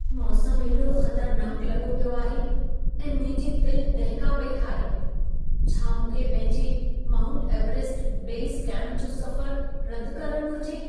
मौसम एॾो ख़तरनाक लॻो पियो आहे ऐं मुंहिंजी दिल दहिका पई खाए। छा मूंखे पंहिंजे माउंट एवरेस्ट बेस कैंप जो सफ़रु रदि करणु घुर्जे?